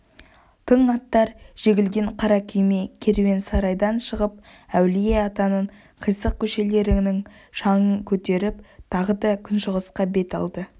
тың аттар жегілген қара күйме керуен-сарайдан шығып әулие-атаның қисық көшелерінің шаңын көтеріп тағы да күншығысқа бет алды